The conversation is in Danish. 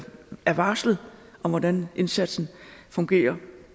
er varslet om hvordan indsatsen fungerer